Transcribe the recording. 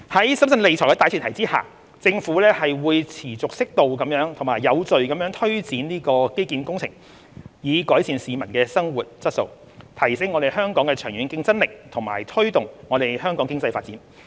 在審慎理財的大前提下，政府會持續適度及有序地推展基建工程，以改善市民的生活質素，提升香港的長遠競爭力和推動香港經濟發展。